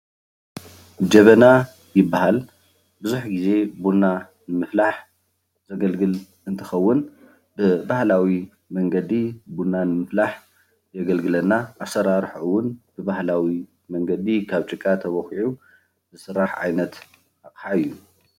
ጀበና ይባሃል፡፡ ቡዙሕ ግዜ ቡና ንምፍላሕ ዘገልግል እንትከውን ብባህላዊ መንገዲ ቡና ንምፍላህ የገልግለና፡፡ ኣሰራርሕኡ እዉን ብባህላዊ መንገዲ ካብ ጭቃ ተበኪዑ ዝስራሕ ዓይነት ኣቅሓ እዩ፡፡